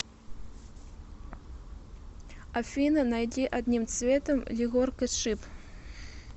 афина найди одним цветом егоркашип